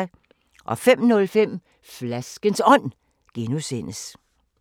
05:05: Flaskens Ånd (G)